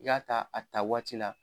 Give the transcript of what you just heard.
I k'a ta a ta waati la